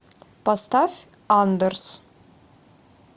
поставь андерс